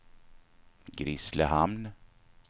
Grisslehamn